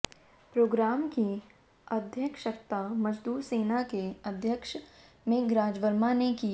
programme की अध्यक्षता मजदूर सेना के अध्यक्ष मेघराज वर्मा ने की